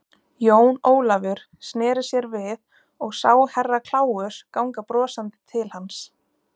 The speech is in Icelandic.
Jón Ólafur sneri sér við og sá Herra Kláus ganga brosandi til hans.